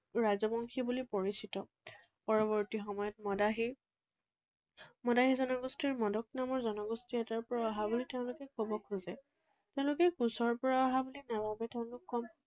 ৰাজবংশী বুলি পৰিচিত। পৰৱৰ্তী সময়ত মদাহী, মদাহী জনগোষ্ঠীৰ মদক নামৰ জনগোষ্ঠী এটাৰ পৰা অহা বুলি তেওঁলোকে কব খোজে। তেওঁলোকে কোচৰ পৰা অহা বুলি নাভাবে। তেওঁলোক